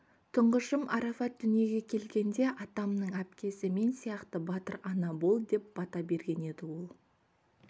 тұңғышым арафат дүниеге келгенде атамның әпкесі мен сияқты батыр ана бол деп бата берген еді ол